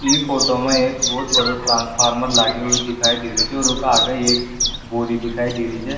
ई फोटो मा एक बहोत बड़ो ट्रांसफार्मर लागे हुए दिखाई दे रो छे और उका आगे एक बोर्ड ही दिखाई दे री छ।